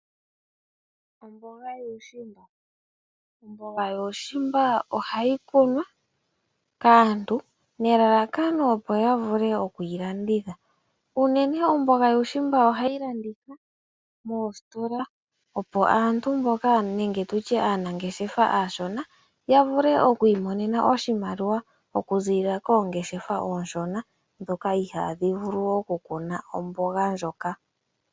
Omboga yuushimba, omboga yuushimba ohayi kunwa kaantu nelalakano opo ya vule oku yi landitha. Unene omboga yuushimba ohayi landithwa moositola opo aantu mboka, nenge tu tye aanangeshefa aashona ya vule oku imonena oshimaliwa okuziilila koongeshefa oonshona ndhoka ihaadhi vulu okukuna omboga ndjoka.